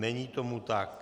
Není tomu tak.